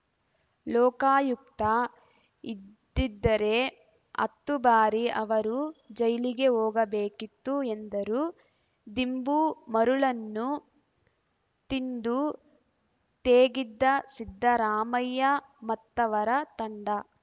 ಲೋಕಾಯುಕ್ತ ಇದ್ದಿದ್ದರೆ ಹತ್ತು ಬಾರಿ ಅವರು ಜೈಲಿಗೆ ಹೋಗಬೇಕಿತ್ತು ಎಂದರು ದಿಂಬು ಮರಳನ್ನು ತಿಂದು ತೇಗಿದ್ದ ಸಿದ್ದರಾಮಯ್ಯ ಮತ್ತವರ ತಂಡ